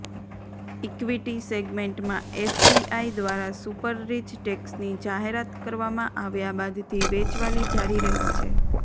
equity સેગ્મેન્ટમાં FPI દ્વારા super rich ટેક્સની જાહેરાત કરવામાં આવ્યા બાદથી વેચવાલી જારી રહી છે